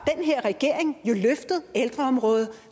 regering jo løftet ældreområdet